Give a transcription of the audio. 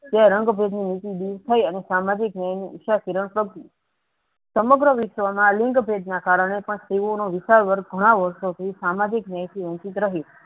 તે રંગ ભેદની નીતિ દૂર થઇ અને સામાજિક ન્યાયની ઈચ્છા શીર્ણ સરકી સમગ્ર વીશવમાં લિંગ ભેદના કારણે પણ સ્ત્રીઓનો વીશાળ વર્ગ ઘણા વર્ષોથી સામાજિક ન્યાયથી વંચિત રહી.